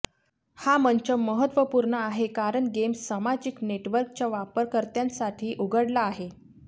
हा मंच महत्वपूर्ण आहे कारण गेम सामाजिक नेटवर्कच्या वापरकर्त्यांसाठी उघडला आहे